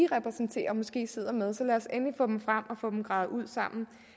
repræsenterer måske sidder med så lad os endelig få dem frem og gravet ud sammen